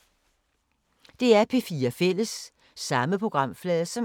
DR P4 Fælles